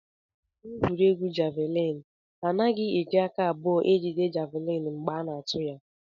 N'egwuregwu javịlịn, a naghị eji aka abụọ ejide javịlịn mgbe a na-atụ ya